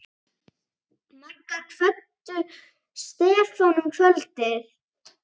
Magga kvöddu Stefán um kvöldið.